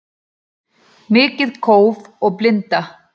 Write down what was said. Mikið kóf og blinda